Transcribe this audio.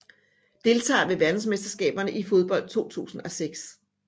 Deltagere ved verdensmesterskabet i fodbold 2006